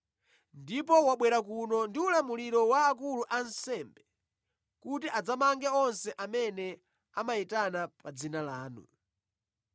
Ndipo wabwera kuno ndi ulamuliro wa akulu ansembe kuti adzamange onse amene amayitana pa dzina lanu.”